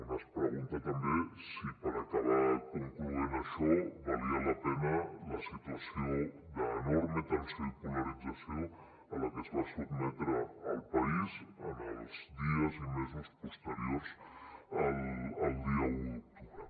un es pregunta també si per acabar concloent això valia la pena la situació d’enorme tensió i polarització a la que es va sotmetre el país en els dies i mesos posteriors al dia un d’octubre